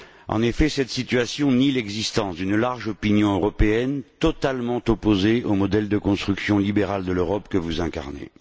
En effet, cette situation nie l'existence d'une large opinion européenne totalement opposée au modèle libéral de construction de l'Europe, que vous incarnez.